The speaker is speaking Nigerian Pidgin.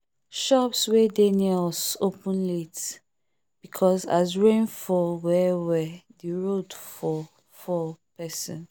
shops wey dey near us open late because as rainfall well well the road for fall person